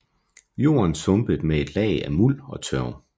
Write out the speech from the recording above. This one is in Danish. Jorden sumpet med et lag af muld og tørv